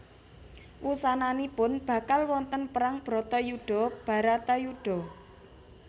Wusananipun bakal wonten perang Bratayuda Bharatayuddha